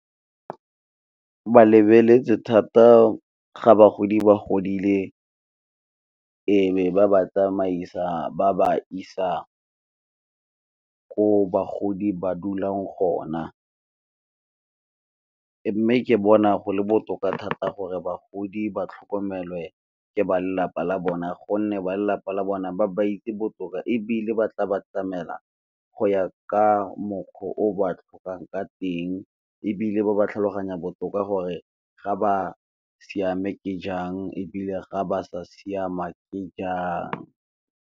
Ke lebeletse thata ga bagodi ba godile e be ba ba tsamaisa ba ba isa ko bagodi ba dulang gona, mme ke bona go le botoka thata gore bagodi ba tlhokomelwe ka ba lelapa la bona gonne ba lelapa la bona ba ba itse botoka, ebile ba tla ba tlamela go ya ka mokgwa o ba tlhokang ka teng, ebile ba ba tlhaloganya botoka gore ga ba siame ke jang ebile ga ba sa siama ke jang.